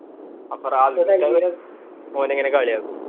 അപ്പൊ ഓനാ ഇങ്ങനെ കളിയാക്കും